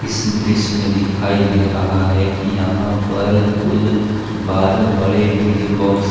इस दृश्य में दिखाई दे रहा है कि यहां पर कुल बारह बड़े डी_जे बॉक्स --